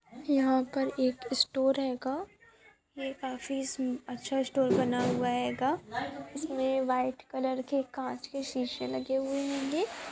यहाँ पर एक स्टोर हेगा ये काफी अच्छा स्टोर बना हुआ हेगा इसमे व्हाइट कलर के कांच के शीशे लगे हुए हेंगे।